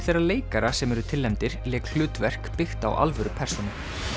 þeirra leikara sem eru tilnefndir lék hlutverk byggt á alvöru persónu